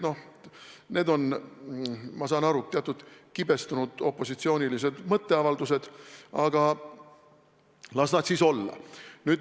Need on, ma saan aru, teatud kibestunud opositsioonilised mõtteavaldused, aga las nad siis olla.